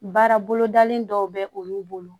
Baara bolodali dɔw bɛ olu bolo